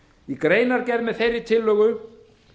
í greinargerð með þeirri tillögu